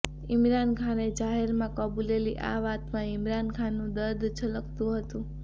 ઈમરાનખાને જાહેરમાં કબૂલેલી આ વાતમાં ઈમરાન ખાનનું દર્દ છલકતું હતુ